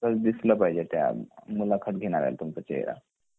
proper दिसला पाहिजे मुलाखत घेणाऱ्याला तुमचं चेहरा